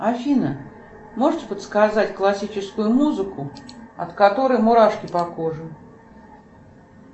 афина можете подсказать классическую музыку от которой мурашки по коже